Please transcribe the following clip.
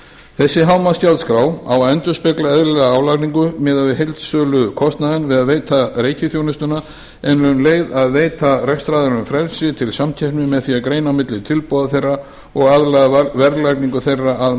þessi hámarksgjaldskrá á að endurspegla eðlilega álagningu miðað við heildsölukostnaðinn við að veita reikiþjónustuna en um leið að veita rekstraraðilunum frelsi til samkeppni með því að greina á milli tilboða þeirra og aðlaga verðlagningu þeirra að